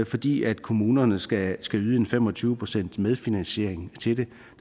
fordi kommunerne skal yde en fem og tyve procent medfinansiering til det